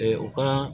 u ka